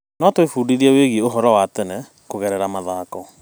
No twĩbundithie wĩgiĩ ũhoro wa tene kũgerera mathako.